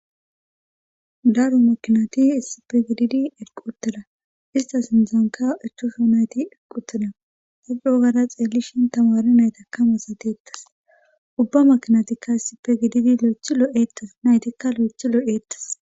Daru makinati issipe gididi elquteda istas indzonka echoso nayti elquteda hacuogara xeellishin tamaari naytakkamasateettas ubba makinatikka ssipe gididi lo7ethi lo7eettas naytikka lo7ethi loo7eettes.